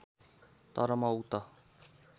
तर म उक्त